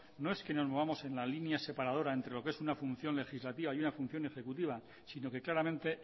no es que nos movamos en la línea separadora entre lo que es una función legislativa y una función ejecutiva sino que claramente